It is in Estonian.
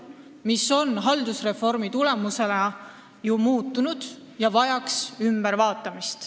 Olukord on haldusreformi tulemusena ju muutunud ja regulatsiooni tuleks muuta.